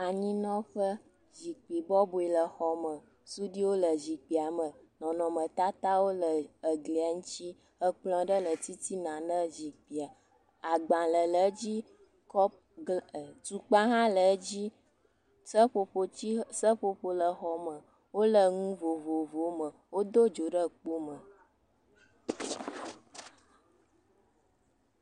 Anyinɔƒe, zikpui bɔbɔe le xɔ me. Suɖuiwo le zikpuia me. Nɔnɔmetatawo le eglia ŋutsi. Ekplɔ̃ ɖe le titina ne zikpuia. Agbalẽ le edzi, kɔp, tukpa hã le edzi. Seƒoƒo le exɔa me. Wole nu vovovowo me. Wodo dzo ɖe kpo me.